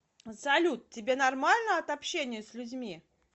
салют тебе нормально от общения с людьми